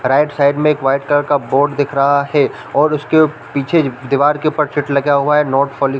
right side में एक white colour का बोर्ड दिख रहा है और उसके पीछे दीवार के ऊपर चिट लगा हुआ है नॉट --